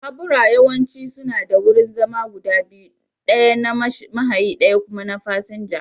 Babura yawanci suna da wurin zama guda biyu, ɗaya na mahayi ɗaya kuma na fasinja.